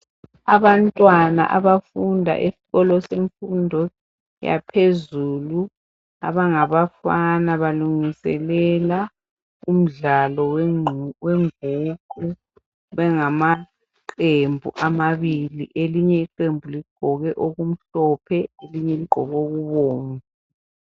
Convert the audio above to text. Abantwana abafunda esikolo semfundo yaphezulu abangaba fana balungiselela umdlalo wenguqu bengamaqembu amabili elinye iqembu ligqoke okumhlophe elinye ligqoke okubomvu.